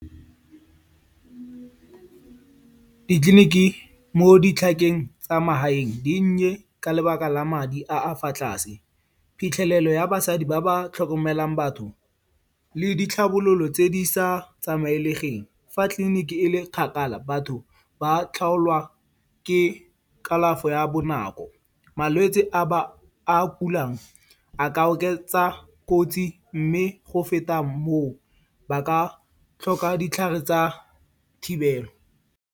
Ditleliniki mo ditlhakeng tsa magaeng di nnye ka lebaka la madi a a fa tlase. Phitlhelelo ya basadi ba ba tlhokomelang batho le ditlhabololo tse di sa tsamaelegeng fa tliliniki e le kgakala, batho ba tlhagolwa ke kalafo ya bonako. Malwetse a ba ba kulang, a ka oketsa kotsi mme go feta moo ba ka tlhoka ditlhare tsa thibelo.